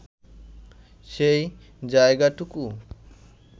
সেই যায়গাটুকু